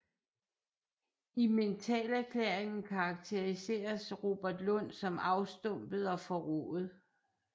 I mentalerklæringen karakteriseres Robert Lund som afstumpet og forrået